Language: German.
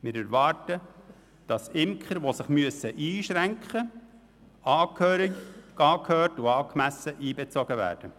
Wir erwarten, dass Imker, die sich einschränken müssen, angehört und angemessen einbezogen werden.